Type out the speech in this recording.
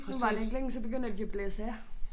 Nu varer det ikke længe så begynder de at blæse af